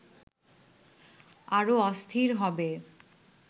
আরো অস্থির হবে